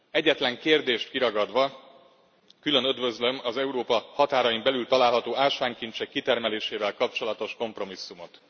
Egyetlen kérdést kiragadva külön üdvözlöm az Európa határain belül található ásványkincsek kitermelésével kapcsolatos kompromisszumot.